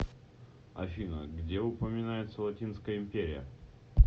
афина где упоминается латинская империя